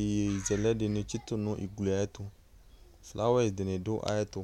iyeye zɛlɛ di nu ugli tu flawa dini du ayɛtu